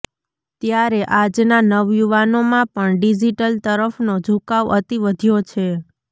ત્યારે આજના નવયુવાનોમાં પણ ડીજિટલ તરફનો ઝુકાવ અતિ વઘ્યો છે